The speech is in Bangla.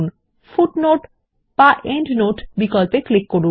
তারপর ফুটনোট এন্ডনোট বিকল্পে ক্লিক করুন